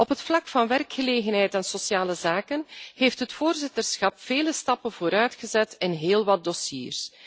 Op het vlak van werkgelegenheid en sociale zaken heeft het voorzitterschap vele stappen vooruit gezet in heel wat dossiers.